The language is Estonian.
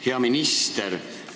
Hea minister!